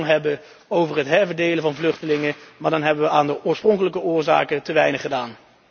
hebben over het herverdelen van vluchtelingen, maar dan hebben we aan de oorspronkelijke oorzaken te weinig gedaan.